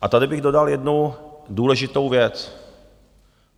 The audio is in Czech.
A tady bych dodal jednu důležitou věc.